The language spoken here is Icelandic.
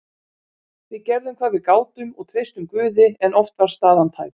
Við gerðum hvað við gátum og treystum Guði en oft var staðan tæp.